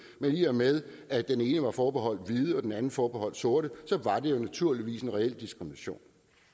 men i og med at den ene var forbeholdt hvide og den anden forbeholdt sorte så var der naturligvis en reel diskrimination